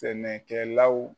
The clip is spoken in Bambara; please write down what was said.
Sɛnɛkɛlaw